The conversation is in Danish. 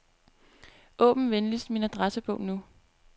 Åbn venligst min adressebog nu.